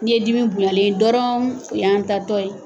N'i ye dimi bonyalen ye dɔrɔnw o yan taatɔ ye